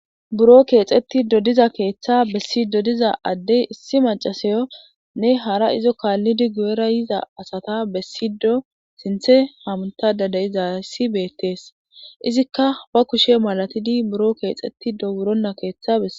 buro keexeti dodiza keeththa bessi dodiza addey issi macasayo nne hara izo kaallidi gu7era yiza asata bessido sinthe hamtada deyizassi beettees izikka ba kushe malatidi buro keexeti dowurona keeththabe